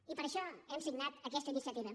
i per això hem signat aquesta iniciativa